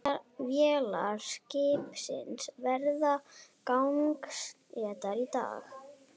Vélar skipsins verði gangsettar í dag